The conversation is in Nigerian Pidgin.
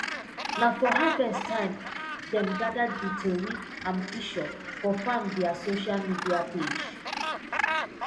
na for harvest time dem gather di tori and pishure for farm dia sosha media page